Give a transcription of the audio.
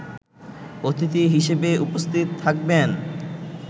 অতিথি হিসেবে উপস্থিত থাকবেন